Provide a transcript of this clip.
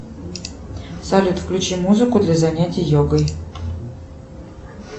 салют включи музыку для занятия йогой